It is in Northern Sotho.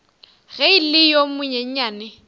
ge e le yo monyenyane